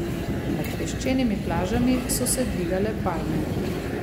Nad peščenimi plažami so se dvigale palme.